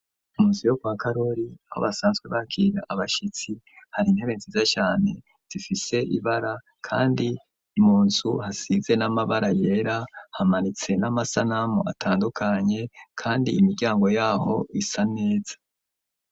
Mu nzu yo kwa karori awa basanzwe bakira abashitsi hari intebe nziza cyane zifise ibara kandi imunsu hasize n'amabara yera hamanitse n'amasanamu atandukanye kandi imiryango yaho isa neza.